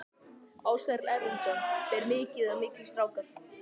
Ásgeir Erlendsson: Ber mikið í milli strákar?